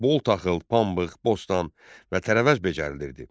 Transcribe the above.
Bol taxıl, pambıq, bostan və tərəvəz becərilirdi.